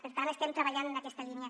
per tant estem treballant en aquesta línia